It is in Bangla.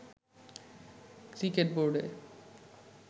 ক্রিকেট বোর্ডে